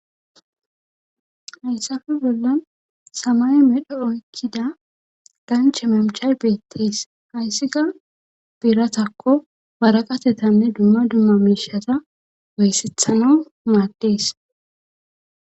hayssafe bolla samay medho oykkida ganche mamchay beettees hayssika biratakko waraqatetanne dumma dumma miishata oyissethana maaddees